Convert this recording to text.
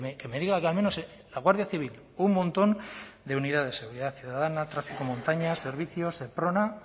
que me diga que al menos la guardia civil un montón de unidades seguridad ciudadana tráfico montaña servicio seprona